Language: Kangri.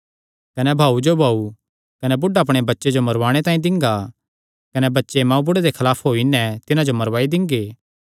कने भाऊ जो भाऊ कने बुढ़ा अपणे बच्चे जो मरुवाणे तांई दिंगा कने बच्चे मांऊबुढ़े दे खलाफ होई नैं तिन्हां जो मरवाई दिंगे